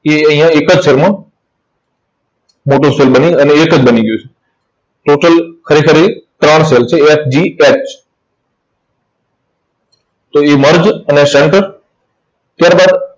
તે અહીંયા એક જ cell માં મોટો cell બની અને એક જ બની ગયું છે. Total ખરેખર એ ત્રણ cell છે, F, G, H તો એ merge અને center. ત્યાર બાદ